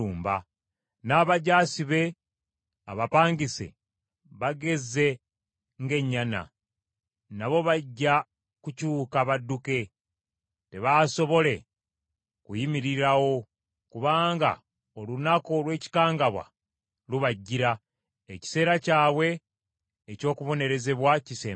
N’abajaasi be abapangise bagezze ng’ennyana. Nabo bajja kukyuka badduke, tebaasobole kuyimirirawo, kubanga olunaku olw’ekikangabwa lubajjira, ekiseera kyabwe eky’okubonerezebwa kisembedde.